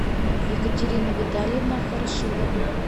екатерина витальевна хорошилова